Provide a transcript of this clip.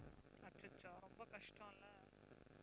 அச்சச்சோ ரொம்ப கஷ்டம் இல்லை?